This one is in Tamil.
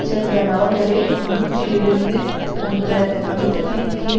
சென்ற நவம்பரில் மூன்றிலிருந்து வந்த அழுத்தத்தின் கீழ்